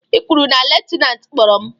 I kwuru na lutenantị kpọrọ m?